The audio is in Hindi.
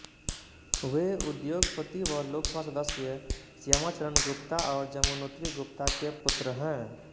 वें उद्योगपति व लोकसभा सदस्य श्यामा चरण गुप्ता और जमुनोत्री गुप्ता के पुत्र हैं